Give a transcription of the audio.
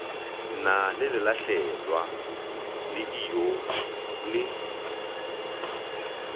na lelahlelwa le ijoo le